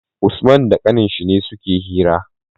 Usman da ƙanin shi ne suke hira